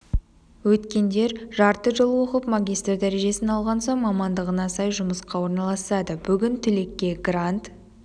өткендер жарты жыл оқып магистр дәрежесін алған соң мамандығына сай жұмысқа орналасады бүгін түлекке грант